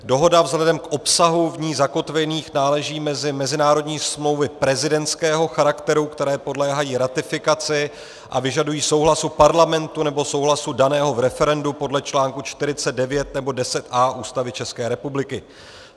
Dohoda vzhledem k obsahu v ní zakotvených náleží mezi mezinárodní smlouvy prezidentského charakteru, které podléhají ratifikaci a vyžadují souhlasu Parlamentu nebo souhlasu daného v referendu podle článku 49 nebo 10a Ústavy České republiky.